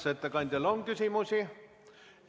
Kas ettekandjale on küsimusi?